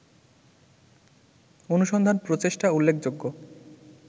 অনুসন্ধান-প্রচেষ্টা উল্লেখযোগ্য